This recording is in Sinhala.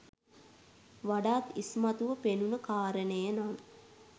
වඩාත් ඉස්මතුව පෙනුණ කාරණය නම්